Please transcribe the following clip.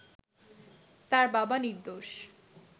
তার বাবা নির্দোষ